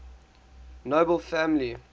nobel family